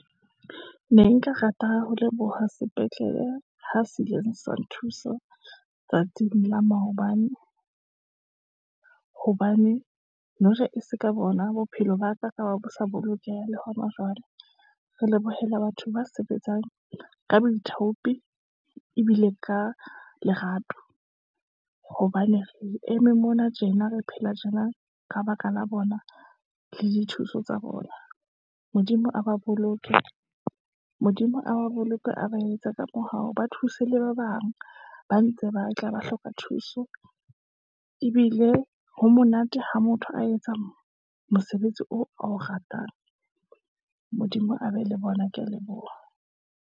Ne nka rata ho leboha sepetlele, ha se ileng sa nthusa ho tsatsing la maobane, hobane e seka bona bophelo ba ka, e ka be bo sa bolokeha le hona jwale, re lebohela batho ba sebetsang ka baithaopi, ebile ka lerato, hobane re eme mona tjena, re phela tjena ka baka la bona le dithuso tsa bona. Modimo a ba boloke, a ba etse ka mohao, ba thuse le ba bang, ba ntse ba tla ba hloka thuso, ebile ha monate ha motho a etsang mosebetsi oo a o ratang. Modimo a be le bona. Ke ya leboha.